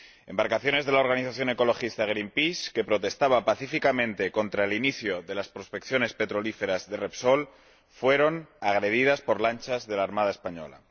Embarcaciones de la organización ecologista Greenpeace, que protestaba pacíficamente contra el inicio de las prospecciones petrolíferas de Repsol, fueron agredidas por lanchas de la Armada española.